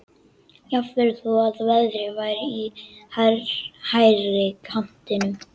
Jafnvel þó að verðið væri í hærri kantinum.